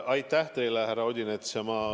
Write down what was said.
Aitäh teile, härra Odinets!